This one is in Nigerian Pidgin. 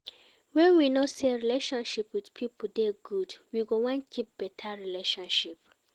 when we know sey relationship with pipo dey good, we go wan keep better relationship